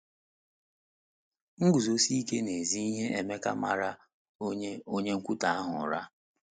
Iguzosi ike n’ezi ihe Emeka mara onye onye nkwutọ ahụ ụra!